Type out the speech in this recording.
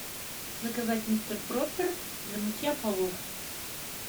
заказать мистер пропер для мытья полов